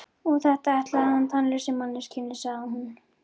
Og þetta ætlaði hann tannlausri manneskjunni, sagði hún.